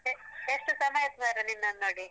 A~ ಎಷ್ಟು ಸಮಯ ಆಯ್ತು ಮಾರ್ರೇ ನಿನ್ನನ್ನು ನೋಡಿ.